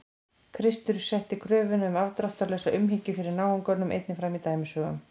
Kristur setti kröfuna um afdráttarlausa umhyggju fyrir náunganum einnig fram í dæmisögum.